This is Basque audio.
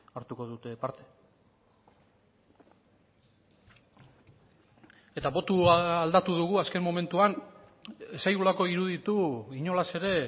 hartuko dute parte eta botoa aldatu dugu azken momentuan ez zaigulako iruditu inolaz ere